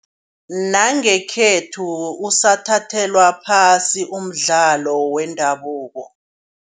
Nangekhethu usathathelwa phasi umdlalo wendabuko.